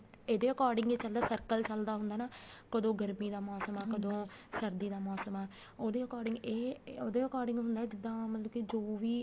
ਇਹਦੇ according ਹੀ circle ਚੱਲਦਾ ਹੁੰਦਾ ਨਾ ਕਦੋਂ ਗਰਮੀ ਦਾ ਮੋਸਮ ਆ ਕਦੋਂ ਸਰਦੀ ਦਾ ਮੋਸਮ ਆ ਉਹਦੇ according ਇਹ ਉਹਦੇ according ਹੁੰਦਾ ਜਿਦਾਂ ਮਤਲਬ ਜੋ ਵੀ